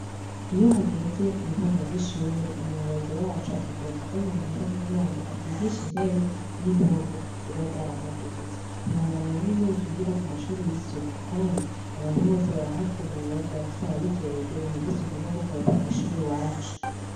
Iyo hageze mu ntango z'ishure umuyobozi wacu atubwira tuzana amahera kugira ngo asigishe intebe n'impome zibazari amadutsi niworaba rero ingenu twigira ku mashuri y'isuku, kandi abantu bose barahakubura tubafise ababijejwe ibintu vyoseukunro gukoropa kw'ishuri wacu.